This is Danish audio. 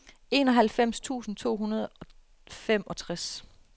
enoghalvfems tusind to hundrede og femogtres